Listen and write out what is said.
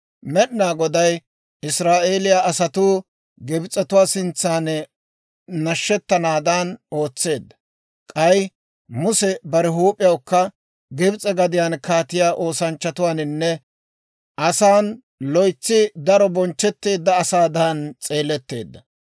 Med'inaa Goday Israa'eeliyaa asatuu Gibs'etuwaa sintsan nashshettanaadan ootseedda. K'ay Muse bare huup'iyawukka Gibs'e gadiyaan kaatiyaa oosanchchatuwaaninne asan loytsi daro bonchchetteedda asaadan s'eeletteedda.